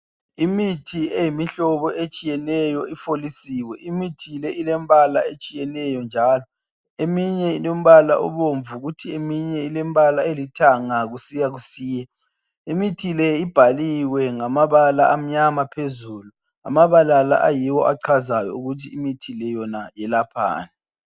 Imithi eyimihlobo etshiyeneyo ifolisiwe. Imithi le ilembala etshiyeneyo njalo eminye ilombala obomvu kuthi eminye ilembala elithanga kusiya kusiya. Imithi le ibhaliwe ngamabala amnyama phezulu. Amabala la ayiwo achazayo ukuthi imithi le yona iyelaphani.